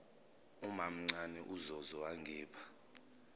umamncane uzozo wangipha